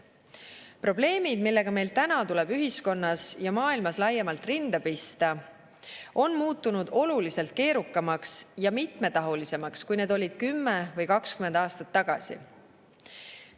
Probleemid, millega meil täna tuleb ühiskonnas ja maailmas laiemalt rinda pista, on muutunud oluliselt keerukamaks ja mitmetahulisemaks, kui need olid 10 või 20 aastat tagasi.